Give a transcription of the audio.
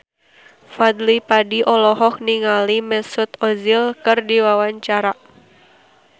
Fadly Padi olohok ningali Mesut Ozil keur diwawancara